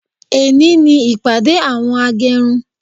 Ẹni ní ìpàdé àwọn agẹrun